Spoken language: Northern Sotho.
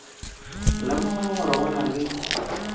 lemoga gore go na le